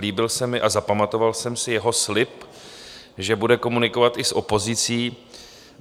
Líbil se mi a zapamatoval jsem si, jeho slib, že bude komunikovat i s opozicí.